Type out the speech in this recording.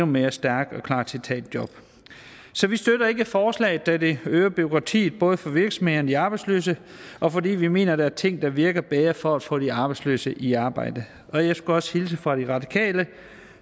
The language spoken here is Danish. mere stærkt og klar til at tage et job så vi støtter ikke forslaget da det øger bureaukratiet både for virksomhederne og de arbejdsløse og fordi vi mener at der er ting der virker bedre for at få de arbejdsløse i arbejde og jeg skulle også hilse fra de radikale